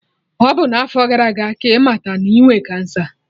Ọ bụ n'afo gara aga ka ịmata na inwe kansa